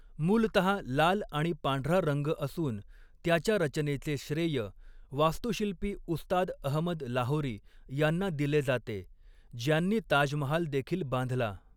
मूलतहा लाल आणि पांढरा रंग असून त्याच्या रचनेचे श्रेय वास्तुशिल्पी उस्ताद अहमद लाहोरी यांना दिले जाते, ज्यांनी ताजमहाल देखील बांधला.